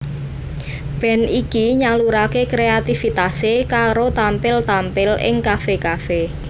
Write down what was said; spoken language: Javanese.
Band iki nyaluraké kreatifitasé karo tampil tampil ing kafe kafe